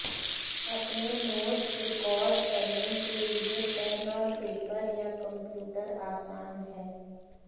अपने notes record करने के लिए पेन और पेपर या कंप्यूटर आसान है